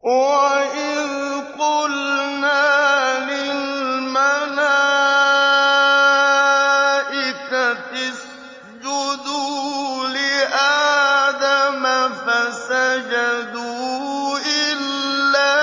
وَإِذْ قُلْنَا لِلْمَلَائِكَةِ اسْجُدُوا لِآدَمَ فَسَجَدُوا إِلَّا